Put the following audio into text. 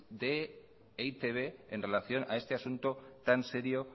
de e i te be en relación a este asunto tan serio